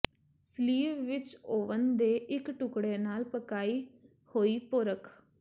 sleeve ਵਿੱਚ oven ਦੇ ਇੱਕ ਟੁਕੜੇ ਨਾਲ ਪਕਾਈ ਹੋਈ ਪੋਰਕ